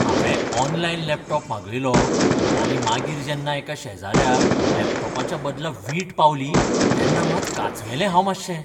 हांवें online laptop मागयलो आनी मागीर जेन्ना एका शेजाऱ्याक लॅपटॉपाच्या बदला वीट पावली तेन्ना मात कांचवेलें हांव मातशें.